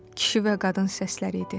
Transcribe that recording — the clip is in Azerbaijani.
Kişi və qadın səsləri idi.